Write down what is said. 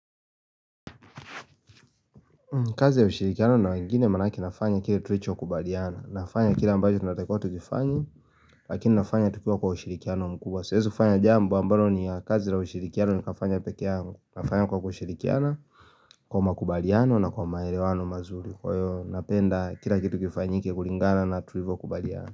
Kazi ya ushirikiano na wengine manake nafanya kile tulicho kubaliana Nafanya kile ambayo tunatakotu kifanye Lakini nafanya tukiwa kwa ushirikiano mkubwa Siwezi fanya jambo ambalo ni ya kazi ya ushirikiano nikafanya pekeangu Nafanya kwa kushirikiana Kwa makubaliano na kwa maelewano mazuri Kwa hiyo napenda kila kitu kifanyike kulingana na tulivyo kubaliana.